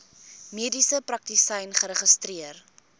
mediese praktisyn geregistreer